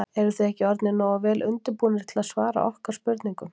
Eruð þið ekki orðnir nógu vel undirbúnir til að svara okkar spurningum?